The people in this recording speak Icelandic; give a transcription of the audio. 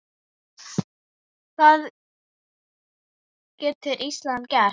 Hvað getur Ísland gert?